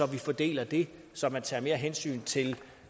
man fordeler det så man tager mere hensyn til